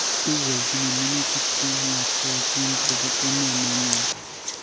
Igoljin minutik che ng'atootin che bo emet nenywa.